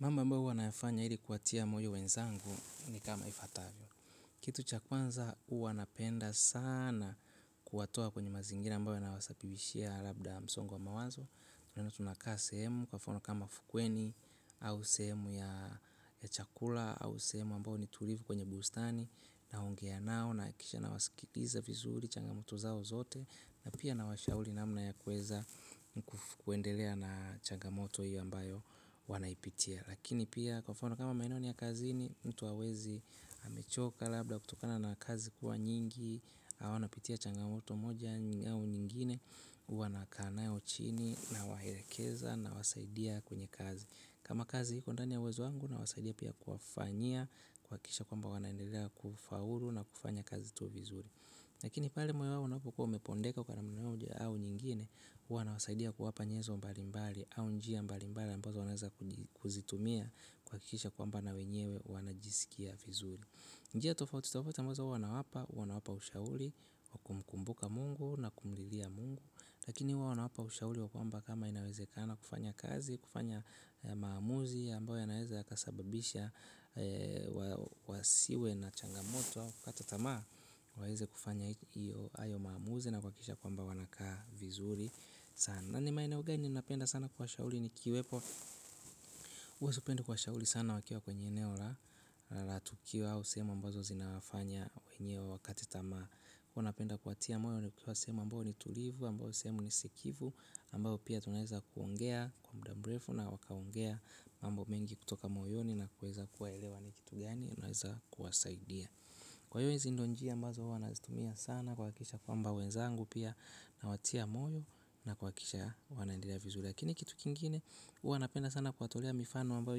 Mambo mbayo huwa na yafanya ili kuwatia moyo wenzangu ni kama ifatavyo. Kitu cha kwanza huwa napenda sana kuwatoa kwenye mazingira mbayo yana wasabibishia labda msongo wa mawazo. Tunaenda tunakaa sehemu kwa mfano kama fukweni au sehemu ya ya chakula au sehemu ambayo ni tulivu kwenye bustani naongea nao na kisha na wasikiliza vizuri changamoto zao zote na pia na washauri namna ya kuweza kufuendelea na changamoto hiyo ambayo wanaipitia. Lakini pia kwa mfano kama maeneo ni ya kazini mtu hawezi amechoka labda kutokana na kazi kuwa nyingi. Au ana pitia changamoto moja au nyingine huwa nakana nao chini na waelekeza na wasaidia kwenye kazi. Kama kazi hiko ndani ya uwezo wangu na wasaidia pia kufanyia kuhakikisha kwamba wanaendelea kufaulu na kufanya kazi tu vizuri. Lakini pale moyo wao unapokua upondeka kwa namna moja au nyingine huwa na wasaidia kuwapa nyezo mbali mbali. Au njia mbali mbali mbali ambazo wanaweza kuzitumia huhakikisha kwamba na wenyewe wana jisikia vizuri. Njia tofauti tofauti ambazo huwa nawapa huwa nawapa ushauli wakumkumbuka mungu na kumlilia mungu. Lakini huwa nawapa ushauri wa kwamba kama inaweze kana kufanya kazi. Kufanya maamuzi ambayo ya naweza yanaweza yakasababisha wasiwe na changamoto au kukata tama waweze kufanya iyo hayo maamuzi na kuhakisha ya kwamba wanaka vizuri sana nani maeneo gani ninapenda sana kuwa shauri ni kiwepo huwe supendi kuwa shauri sana wakiwa kwenye eneo la la tukio au sehemu ambazo zinawafanya wenye wakate tama huwa napenda kuatia moyo nikiwa sehemu ambayo ni tulivu ambayo sehemu ni sikivu ambayo pia tunaeza kuongea kwa muda mrefu na wakaongea mambo mengi kutoka moyoni na kuweza kuwaelewa ni kitu gani naeza kuwasaidia. Kwa hiyo hizi ndo njia ambazo huwa nazitumia sana kuhakikisha ya kwamba wezangu pia nawatia moyo na kuhakikisha wanaendelea vizuri. Lakini kitu kingine hua napenda sana kuwatolea mifano ambayo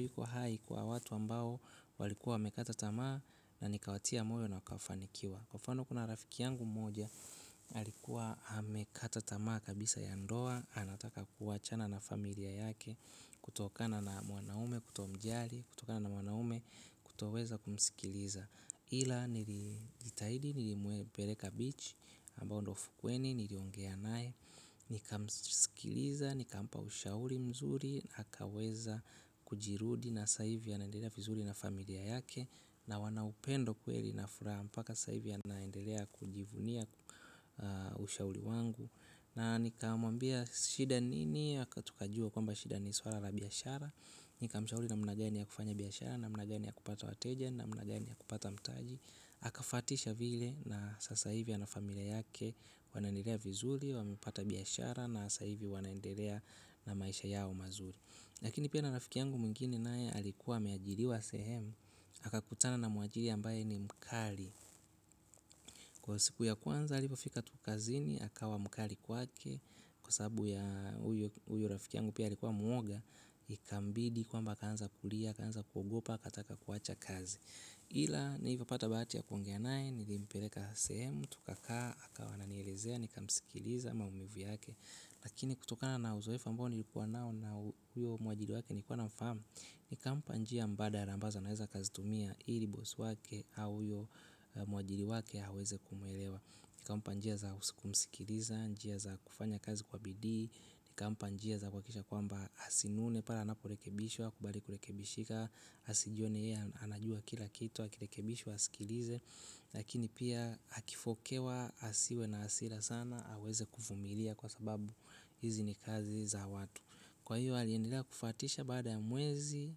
iko hai kwa watu ambao walikuwa wamekata tama. Na nikawatia moyo na wakafanikiwa. Kwa mfano kuna rafiki yangu mmoja alikuwa amekata tamaa kabisa ya ndoa. Anataka kuwachana na familia yake. Kutokana na mwanaume kutomjali, kutokana na mwanaume kutoweza kumsikiliza ila nilijitahidi nilimpeleka beach ambayo ndo ufukweni, niliongea naye nika msikiliza nikampa ushauri mzuri akaweza kujirudi na sasa hivi anaendelea vizuri na familia yake na wanaupendo kweli na furaha mpaka sasa hivi yanaendelea kujivunia ushauri wangu na nika mwambia shida nini, haka tukajua kwamba shida ni swala biashara. Nika mshauri namna gani ya kufanya biashara namna gani ya kupata wateja namnagani ya kupata mtaji aka fatisha vile na sasa hivi ana familia yake wanaendelea vizuri wamepata biashara na sasa hivi wanaendelea na maisha yao mazuri. Lakini pia na rafiki yangu mwingine naye alikuwa ame ajiri wa sehemu aka kutana na muajiri ambaye ni mkali. Kwa siku ya kwanza alipofika tu kazini akawa mkali kwake. Kwa sababu ya huyu rafiki yangu pia alikuwa mwoga ikambidi kwamba aka anza kulia, aka anza kugopa, akataka kuwacha kazi ila nilivyopata bahati ya kuongea naye nilimpeleka sehemu tukakaa, akawa ananielezea, nikamsikiliza maumivu yake lakini kutokana na uzoefa ambao nilikuwa nao na huyo mwajiri wake nikuwa na mfahamu nika mpa njia mbadala ambazo anaweza aka zitumia ili bosi wake au huyo mwajiri wake aweze kumwelewa nikampa njia za kumsikiliza, njia za kufanya kazi kwa bidii ni kampa njia za kuhakikisha kwamba asinune pale anaporekebishwa akubali kurekebishika asijione yeye anajua kila kitu akirekebishwa asikilize lakini pia akifokewa asiwe na hasira sana aweze kuvumilia kwa sababu hizi ni kazi za watu kwa hiyo aliendela kufwatisha baada ya mwezi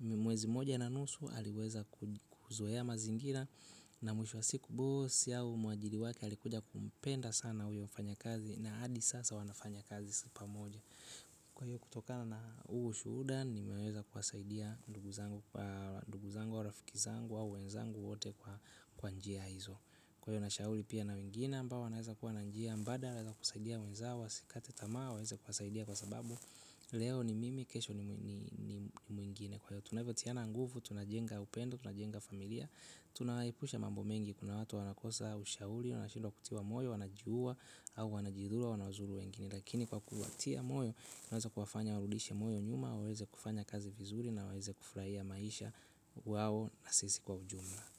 mwezi moja na nusu aliweza kuzoea mazingira na mwisho wa siku bosi au mwajiri wake alikuja kumpenda sana huyo mfanya kazi na hadi sasa wanafanya kazi pamoja. Kwa hiyo kutoka na huo ushuhuda nimeweza kuasaidia ndugu zangu au rafiki zangu au wenzangu wote kwa njia hizo. Kwa hiyo na shauru pia na wengine ambao wanaweza kuwa na njia mbadala zakusaidia wenzao wa sikate tamaa. Waweza kuwasaidia kwa sababu leo ni mimi kesho ni ni muingine, kwa hivyo tunavyotiana nguvu. Tunajenga upendo, tunajenga familia, tunayaepusha mambo mengi. Kuna watu wanakosa ushauri wanashindwa kutiwa moyo, wanajiua au wanajidhuru au wanazuru wengine. Lakini kwa kuwatia moyo tunaweza kuwafanya warudishe moyo nyuma waweze kufanya kazi vizuri na waweze kufurahia maisha wao na sisi kwa ujumla.